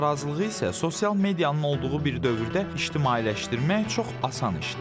Narazılığı isə sosial medianın olduğu bir dövrdə ictimailəşdirmək çox asan işdir.